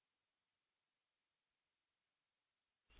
the दो भागों में बंट जाता है